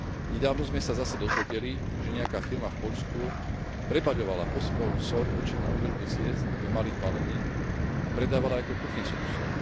Nedávno sme sa zase dozvedeli, že nejaká firma v Poľsku prebaľovala posypovú soľ určenú na údržbu ciest do malých balení a predávala ju ako kuchynskú soľ.